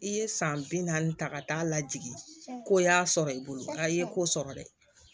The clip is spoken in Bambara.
I ye san bi naani ta ka taa lajigi ko y'a sɔrɔ i bolo nka i ye ko sɔrɔ dɛ